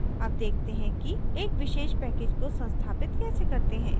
अब देखते हैं कि एक विशेष package को संस्थापित कैसे करते हैं